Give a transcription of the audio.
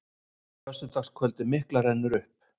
Föstudagskvöldið mikla rennur upp.